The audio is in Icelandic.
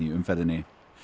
umferðinni